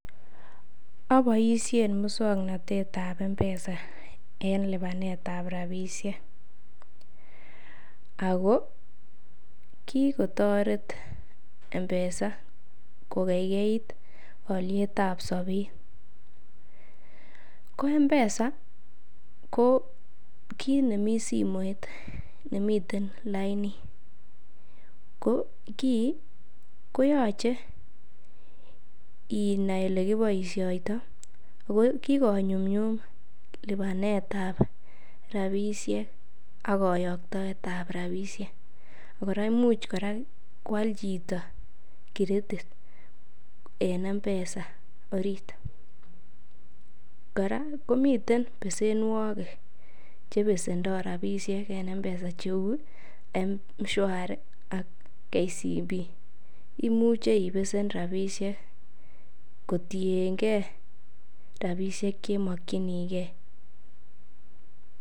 Aboishen muswaknatet ab M-Pesa en lipanet ab rabishek ago kigotoret M-Pesa kogeigeit olyet ab sobet. Ko M-Pesa ko kkit nemi simoit nemiten lainit, ko kiy koyoche inai ole kipoishoito, ago kigonyumnyum lipanetab rabishek ak koyoktoet ab rabishek. Imuch kora koal chito kiretit en M-Pesa orit. Kora komiten besenwogik che besendo rabishek en M-Pesa cheu M-Shwari ak KCB. Imuche ibesen rabishek kotienge rabishek che imokinige.